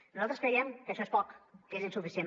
nosaltres creiem que això és poc que és insuficient